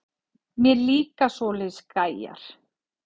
Mér líka svoleiðis gæjar.